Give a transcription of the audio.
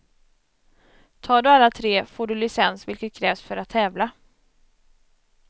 Tar du alla tre får du licens vilket krävs för att tävla.